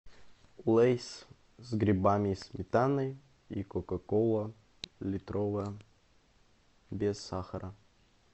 лейс с грибами и сметаной и кока кола литровая без сахара